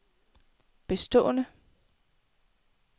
bestående